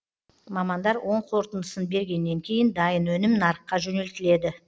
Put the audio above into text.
мамандар оң қорытындысын бергеннен кейін дайын өнім нарыққа жөнелтіледі